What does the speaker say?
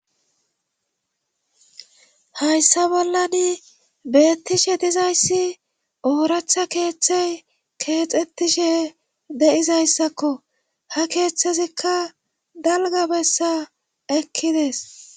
hayssa bollani beettishe dizayssi ooractha keeththey keexettishe de7izayssakko ha keeththezikka dalga bessa ekkides